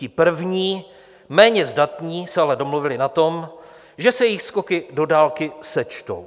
Ti první, méně zdatní, se ale domluvili na tom, že se jejich skoky do dálky sečtou.